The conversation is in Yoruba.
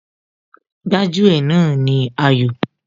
Gbájú ẹ̀ náà ni Ayọ̀